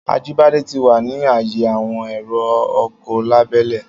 Ajíbádé ti wà ní ààyè àwọn èrò ọkọ̀ lábẹ́lé.